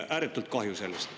Ääretult kahju on sellest.